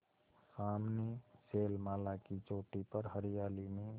सामने शैलमाला की चोटी पर हरियाली में